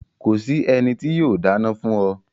Ko sì ènì tó yóò dána fún o